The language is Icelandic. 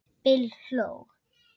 Bill hló.